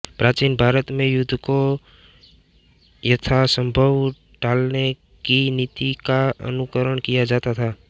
प्राचीन भारत में युद्ध को यथासम्भव टालने की नीति का अनुकरण किया जाता था